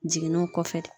Jiginniw kɔfɛ